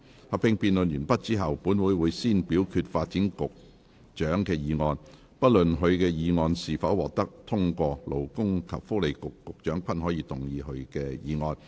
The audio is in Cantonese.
合併辯論完畢後，本會會先表決發展局局長的議案，不論他的議案是否獲得通過，勞工及福利局局長均可動議他的議案。